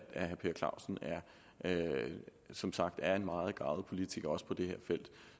herre per clausen som sagt er en meget garvet politiker også på det her felt